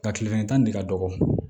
Nka kile kelen tan ni ka dɔgɔ